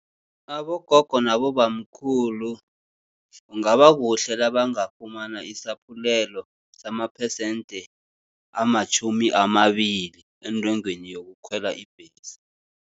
Abogogo nabobamkhulu kungaba kuhle nabangafumana isaphulelo samaphesente amatjhumi amabili, entengweni yokukhwela ibhesi.